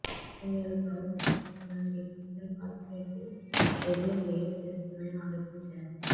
ఇండియాలో పన్నులను తప్పించుకోవడానికి ఈ కంపెనీలు కార్పొరేట్ వెబ్ను క్రియేట్ చేస్తున్నాయని ఆరోపించారు